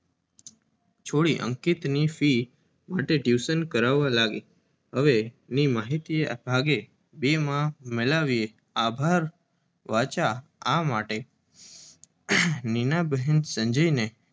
છોડી અંકિતની ફી માટે ટ્યુશન કરવા લાગી. હવે ની માહિતી ભાગે બે માં મેલાવ્યે આભાર વાચા આ માટે નીના બહેન સંજયને